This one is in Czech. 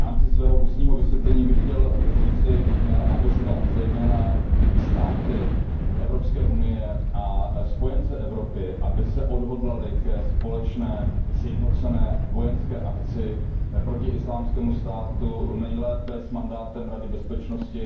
V rámci svého ústního vysvětlení bych chtěl apelovat zejména na státy EU a spojence Evropy, aby se odhodlali ke společné sjednocené vojenské akci proti Islámskému státu nejlépe s mandátem Rady bezpečnosti.